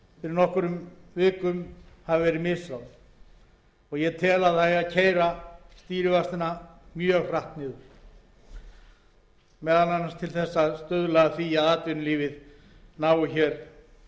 nokkrum vikum hafi verið misráðin ég tel að það eigi að keyra stýrivextina mjög hratt niður meðal annars til þess að stuðla að því að atvinnulífið nái hér